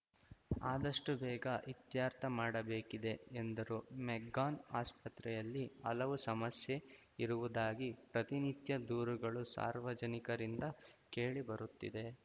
ಅದಷ್ಟುಬೇಗ ಇತ್ಯರ್ಥ ಮಾಡಬೇಕಿದೆ ಎಂದರು ಮೆಗ್ಗಾನ್‌ ಆಸ್ಪತ್ರೆಯಲ್ಲಿ ಹಲವು ಸಮಸ್ಯೆ ಇರುವುದಾಗಿ ಪ್ರತಿನಿತ್ಯ ದೂರುಗಳು ಸಾರ್ವಜನಿಕರಿಂದ ಕೇಳಿಬರುತ್ತಿದೆ